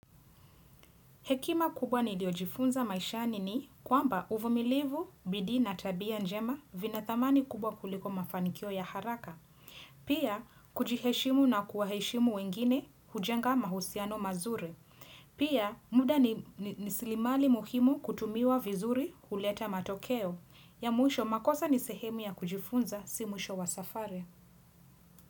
Hekima kubwa niliojifunza maishani ni kwamba uvumilivu, bidii na tabia njema vina thamani kubwa kuliko mafanikio ya haraka. Pia, kujiheshimu na kuwaheshimu wengine, hujenga mahusiano mazuri. Pia, muda ni raslimali muhimu kutumiwa vizuri huleta matokeo. Ya mwisho makosa ni sehemu ya kujifunza si mwisho wa safari.